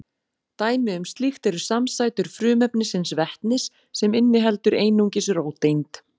Dæmi um slíkt eru samsætur frumefnisins vetnis sem inniheldur einungis eina róteind.